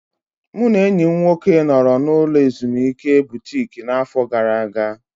Mụ na enyi m nwoke nọrọ n'ụlọ ulo ezimuike Butiki n'afọ gara aga.